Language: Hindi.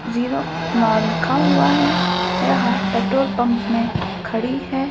जीरो नौ लिखा हुआ है यहां पेट्रोल पंप में खड़ी है।